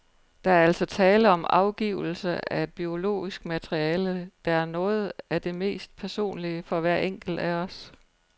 Der er altså tale om afgivelse af et biologisk materiale, der er noget af det mest personlige for hver enkelt af os.